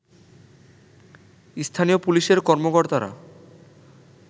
স্থানীয় পুলিশের কর্মকর্তারা